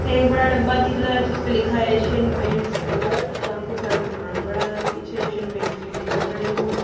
एक बड़ा डब्बा दिख रहा है जिसपे लिखा है एशियन पेंट्स कलर काफी सारा सामान पड़ा है पीछे एशियन पेंट्स के डिब्बे पड़े हुए--